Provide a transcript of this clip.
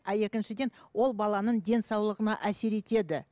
а екіншіден ол баланың денсаулығына әсер етеді